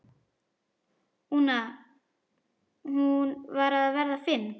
una, hún var að verða fimm.